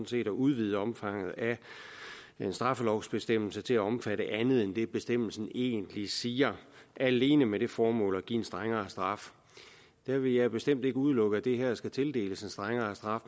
set at udvide omfanget af en straffelovsbestemmelse til at omfatte andet end det bestemmelsen egentlig siger alene med det formål at give en strengere straf der vil jeg bestemt ikke udelukke at det her skal tildeles en strengere straf